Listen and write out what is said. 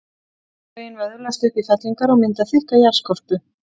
jarðlögin vöðlast upp í fellingar og mynda þykka jarðskorpu